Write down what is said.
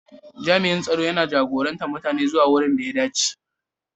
Jami'in tsaro yana jagorantar mutane zuwa wurin da ya dace.